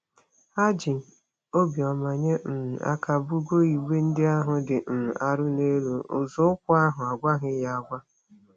Ha ji obiọma nye um aka bugoo igbe ndị ahụ dị um arọ n'elu nzọụkwụ ahụ n'agwaghị ya agwa.